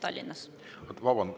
Vabandust!